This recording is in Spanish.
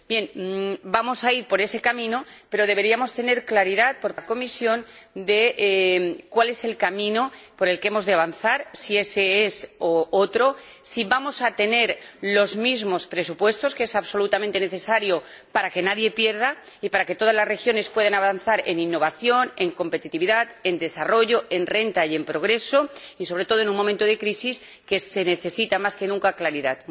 Bien, vamos a ir por ese camino, pero la Comisión debería aclararnos cuál es el camino por el que hemos de avanzar, si es ése u otro, si vamos a tener los mismos presupuestos, algo absolutamente necesario para que nadie pierda y para que todas las regiones puedan avanzar en innovación, en competitividad, en desarrollo, en renta y en progreso, sobre todo en un momento de crisis en el que se necesita, más que nunca, claridad.